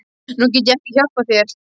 Nú get ég ekki hjálpað þér.